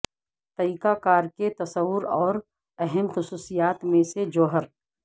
طریقہ کار کے تصور اور اہم خصوصیات میں سے جوہر